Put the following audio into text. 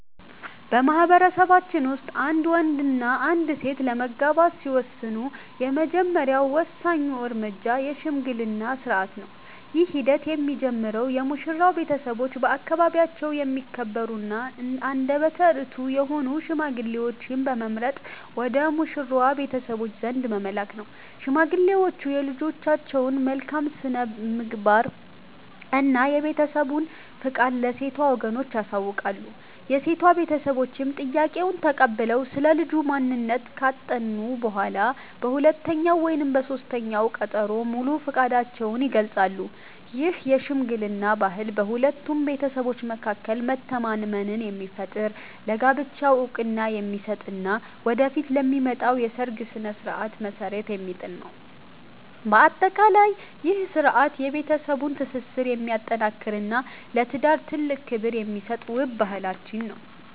በማኅበረሰባችን ውስጥ አንድ ወንድና አንዲት ሴት ለመጋባት ሲወስኑ፣ የመጀመሪያውና ወሳኙ እርምጃ የሽምግልና ሥርዓት ነው። ይህ ሂደት የሚጀምረው የሙሽራው ቤተሰቦች በአካባቢያቸው የሚከበሩና አንደበተ ርትዑ የሆኑ ሽማግሌዎችን በመምረጥ ወደ ሙሽራዋ ቤተሰቦች ዘንድ በመላክ ነው። ሽማግሌዎቹ የልጃቸውን መልካም ስብዕና እና የቤተሰቡን ፈቃድ ለሴቷ ወገኖች ያሳውቃሉ። የሴቷ ቤተሰቦችም ጥያቄውን ተቀብለው ስለ ልጁ ማንነት ካጠኑ በኋላ፣ በሁለተኛው ወይም በሦስተኛው ቀጠሮ ሙሉ ፈቃዳቸውን ይገልጻሉ። ይህ የሽምግልና ባህል በሁለቱ ቤተሰቦች መካከል መተማመንን የሚፈጥር፣ ለጋብቻው ዕውቅና የሚሰጥ እና ወደፊት ለሚመጣው የሰርግ ሥነ ሥርዓት መሠረት የሚጥል ነው። በአጠቃላይ፣ ይህ ሥርዓት የቤተሰብን ትስስር የሚያጠናክርና ለትዳር ትልቅ ክብር የሚሰጥ ውብ ባህላችን ነው።